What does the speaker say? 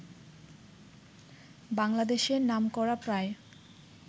বাংলাদেশের নামকরা প্রায়